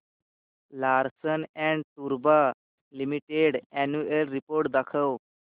Larsen and टुर्बो limited annual report दाखव